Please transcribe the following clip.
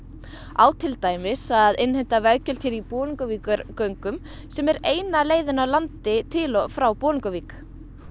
á til dæmis að innheimta veggjöld í Bolungarvíkurgöngum sem er eina leiðin á landi til og frá Bolungarvík